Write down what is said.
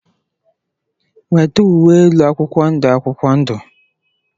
Weta uwe elu akwụkwọ ndụ akwụkwọ ndụ!.